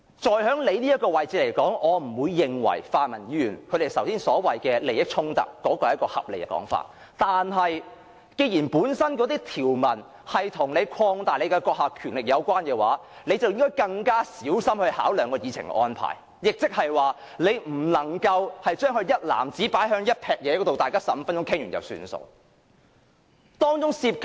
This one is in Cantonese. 就主席的位置而言，我不認為泛民議員剛才所說的利益衝突是一種合理的說法，但既然條文本身跟擴大主席的權力有關，主席便應該更小心考量議程的安排，不能把全部修訂一籃子放在一起，讓大家每人發言15分鐘便作罷。